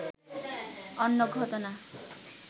অন্য ঘটনা